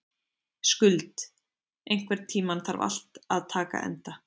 Skuld, einhvern tímann þarf allt að taka enda.